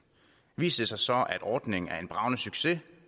viser det sig så at ordningen er en bragende succes